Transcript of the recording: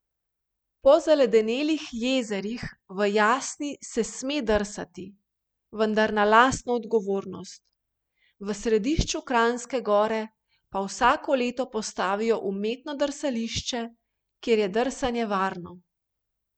Po zaledenelih jezerih v Jasni se sme drsati, vendar na lastno odgovornost, v središču Kranjske Gore pa vsako leto postavijo umetno drsališče, kjer je drsanje varno.